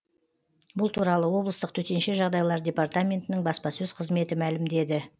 бұл туралы облыстық төтенше жағдайлар департаментінің баспасөз қызметі мәлімдеді